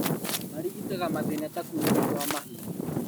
Marigitaga mathĩna ta kuunĩka kwa mahĩndĩ